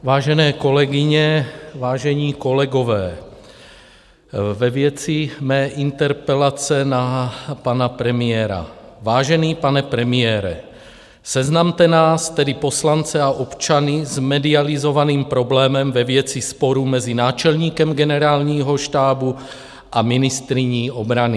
Vážené kolegyně, vážení kolegové, ve věci mé interpelace na pana premiéra: Vážený pane premiére, seznamte nás, tedy poslance a občany, s medializovaným problémem ve věci sporů mezi náčelníkem Generálního štábu a ministryní obrany.